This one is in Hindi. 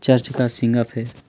चर्च का सीन अ प है